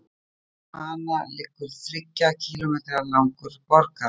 Í kringum hana liggur þriggja kílómetra langur borgarmúr.